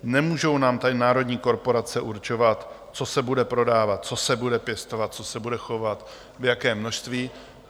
Nemůžou nám tady národní korporace určovat, co se bude prodávat, co se bude pěstovat, co se bude chovat, v jakém množství.